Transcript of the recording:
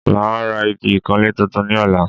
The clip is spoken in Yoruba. Màá ra igi ìkanlé tuntun ní ọ̀la